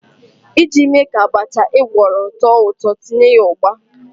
Iji mee ka abacha ị gwọrọ too ụtọ, tinye ya ugba.